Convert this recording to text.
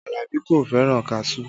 Alabi kò fẹ́ràn kaṣuú